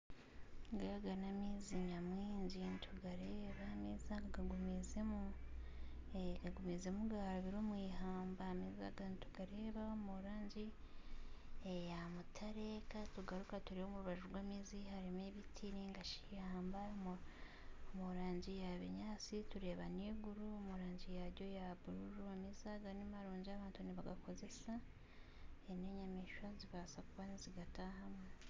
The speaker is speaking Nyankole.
Aga n'amaizi nyamwingi nitugareeba amaizi aga gagumiizemu garabira omu ihamba gari omurangi eya mutare ,omurubaju harimu ebiti ,eiguru omurangi ya bururu amaizi nimarungi abantu nibagakozesa nana enyamaishwa nizibaasa kuba nizigatahamu